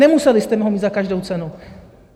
Nemuseli jste ho mít za každou cenu!